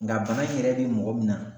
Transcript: Nga bana in yɛrɛ bi mɔgɔ min na